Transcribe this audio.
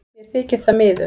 Mér þykir það miður